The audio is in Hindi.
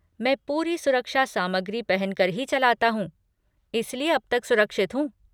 मैं पूरी सुरक्षा सामग्री पहन कर ही चलाता हूँ, इसलिए अब तक सुरक्षित हूँ।